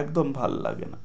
একদম ভাল্লাগে না।